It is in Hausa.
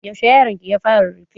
Yaushe yaronki ya fara rarrafe?